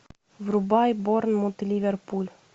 врубай борнмут ливерпуль